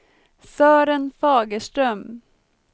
Sören Fagerström